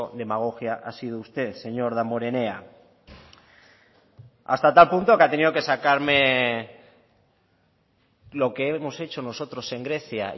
demagogia ha sido usted señor damborenea hasta tal punto que ha tenido que sacarme lo que hemos hecho nosotros en grecia